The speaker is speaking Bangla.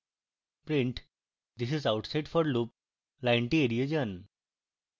print this is outside forloop লাইনটি এড়িয়ে যান